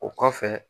O kɔfɛ